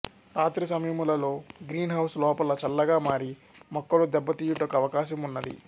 రాత్రి సమయములలో greenhouse లోపల చల్లగా మారి మొక్కలు దెబ్బతీయుటకు అవకాశం ఉన్నది